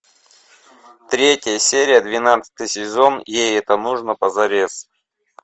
третья серия двенадцатый сезон ей это нужно позарез